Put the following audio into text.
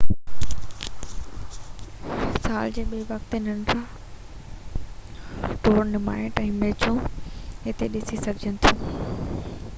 سال جي ٻي وقت تي ننڍڙا ٽورنامينٽ ۽ ميچون هتي ڏسي سگهجن ٿيون